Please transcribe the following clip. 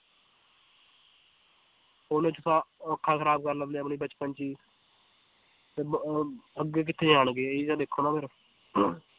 ਉਹ ਅੱਖਾਂ ਖਰਾਬ ਕਰ ਲੈਂਦੇ ਹੈ ਆਪਣੀ ਬਚਪਨ 'ਚ ਹੀ ਤੇ ਬ~ ਅਹ ਅੱਗੇ ਕਿੱਥੇ ਜਾਣਗੇ ਇਹ ਤਾਂ ਦੇਖੋ ਨਾ ਫਿਰ